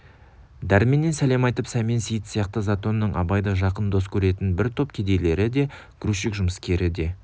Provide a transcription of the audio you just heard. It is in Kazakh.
дәрменнен сәлем айтып сәмен сейіт сияқты затонның абайды жақын дос көретін бір топ кедейлері де грузчик жұмыскері де